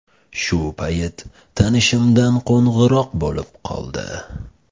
Shu payt tanishimdan qo‘ng‘iroq bo‘lib qoldi.